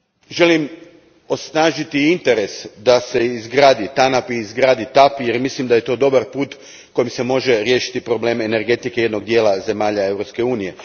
Želim osnažiti interes da se izgrade TANAP i TAP, jer mislim da je to dobar put kojim se može riješiti problem energetike jednog dijela zemalja Europske unije.